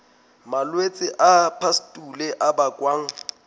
malwetse a pustule a bakwang